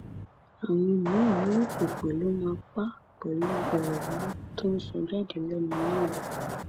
àwọn míín ní èpè ló máa pa àpẹlú ọrọ burúkú tó ń sọ jáde lẹnu náà